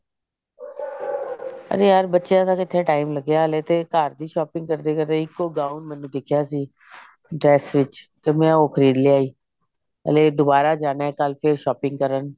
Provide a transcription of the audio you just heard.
ਅਰੇ ਯਾਰ ਬੱਚਿਆ ਦਾ ਕਿੱਥੇ time ਲਗਿਆ ਹਲੇ ਤੇ ਘਰ ਦੀ shopping ਕਰਦੇ ਕਰਦੇ ਇੱਕ ਓ gown ਮੈਨੂੰ ਦੀਖਿਆ ਸੀ dress ਵਿੱਚ ਤੇ ਉਹ ਮੈਂ ਖਰੀਦ ਲੇ ਆਈ ਹਲੇ ਦੁਬਾਰਾ ਜਾਣਾ ਕੱਲ ਫੇਰ shopping ਕਰਨ